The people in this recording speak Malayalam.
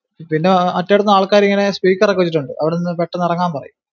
പിന്നെ മറ്റേടത്തുന്ന് ആൾക്കാരിങ്ങനെ speaker ഒക്കെ വെച്ചിട്ടുണ്ട്. അവിടുന്ന് പെട്ടന്ന് ഇറങ്ങാൻ പറയും.